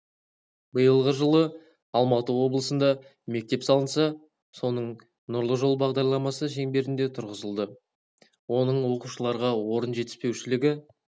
биылғы жылы алматы облысында мектеп салынса соның нұрлы жол бағдарламасы шеңберінде тұрғызылды оның оқушыларға орын жетіспеушілігі